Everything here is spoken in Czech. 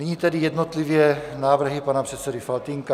Nyní tedy jednotlivě návrhy pana předsedy Faltýnka.